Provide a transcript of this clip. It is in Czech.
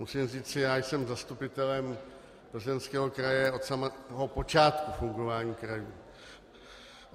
Musím říci, já jsem zastupitelem Plzeňského kraje od samého počátku fungování krajů.